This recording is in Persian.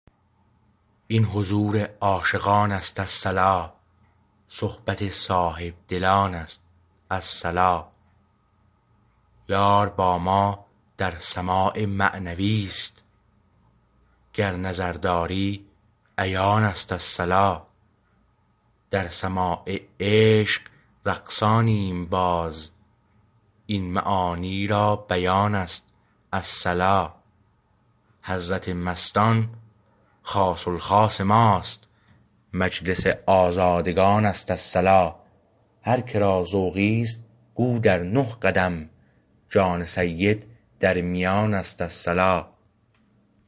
این حضور عاشقان است الصلا صحبت صاحبدلان است الصلا یار با ما در سماع معنوی است گر نظر داری عیان است الصلا در سماع عشق رقصانیم باز این معانی را بیان است الصلا حضرت مستان خاص الخاص ما است مجلس آزادگان است الصلا هر که را ذوقی است گو در نه قدم جان سید در میان است الصلا